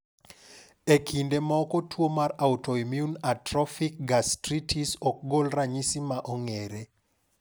E kinde moko tuo mar autoimmune atrophic gastritis okgol ranyisi maong`ere.